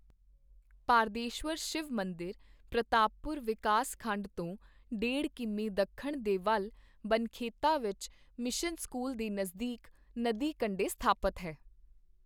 ਪਾਰਦੇਸ਼ਵਰ ਸ਼ਿਵ ਮੰਦਿਰ ਪ੍ਰਤਾਪਪੁਰ ਵਿਕਾਸ ਖੰਡ ਤੋਂ ਡੇਢ ਕੀਮੀ ਦੱਖਣ ਦੇ ਵੱਲ ਬਨਖੇਤਾ ਵਿੱਚ ਮਿਸ਼ਨ ਸਕੂਲ ਦੇ ਨਜ਼ਦੀਕ ਨਦੀ ਕੰਡੇ ਸਥਾਪਤ ਹੈ।